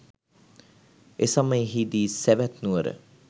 එසමයෙහි දී සැවැත් නුවර